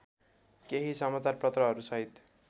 केही समाचारपत्रहरू सहित